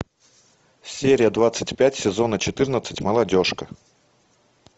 серия двадцать пять сезона четырнадцать молодежка